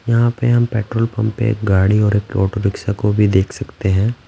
यहाँ पे हम पेट्रोल पंप पे गाड़ी और एक ऑटो रिक्शा को भी देख सकते हैं।